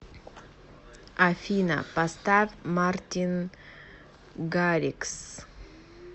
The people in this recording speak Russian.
афина поставь мартин гаррикс